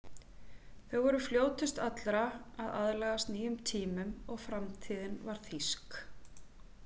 Þau voru fljótust allra að aðlagast nýjum tímum og framtíðin var þýsk.